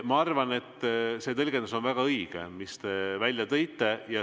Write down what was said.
Ma arvan, et see tõlgendus on väga õige, mis te välja tõite.